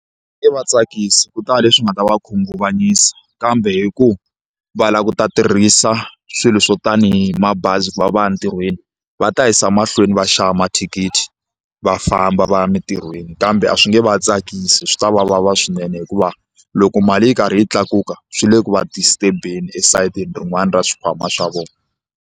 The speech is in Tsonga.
va tsakisi ku ta va leswi nga ta va khunguvanyisa kambe hi ku va lava ku ta tirhisa swilo swo tanihi mabazi ku va va ya ntirhweni va ta yisa mahlweni va xava mathikithi va famba va ya emitirhweni kambe a swi nge va tsakisi swi ta va vava swinene hikuva loko mali yi karhi yi tlakuka swi le ku va disturb-eni esayitini rin'wana ra xikhwama xa vona.